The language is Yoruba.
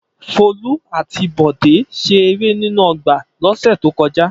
Folú àti Bọ̀dé ṣe eré nínú ọgbà lọ́sẹ̀ tó kọjá.